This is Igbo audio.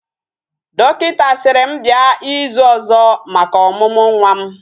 Dọkịta sịrị m bịa ịzụ ọzọ maka ọmụmụ nwa m